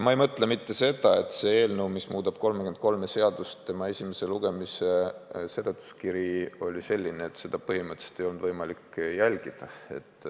Ma ei mõtle siin seda, et selle eelnõu, mis muudab 33 seadust, esimese lugemise seletuskiri oli niisugune, et seda põhimõtteliselt ei olnud võimalik jälgida.